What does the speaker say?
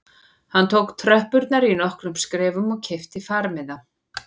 Hann tók tröppurnar í nokkrum skrefum og keypti farmiða